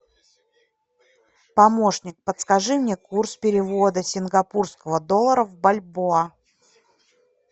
помощник подскажи мне курс перевода сингапурского доллара в бальбоа